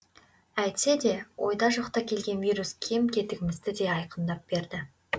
әйтсе де ойда жоқта келген вирус кем кетігімізді де айқындап берді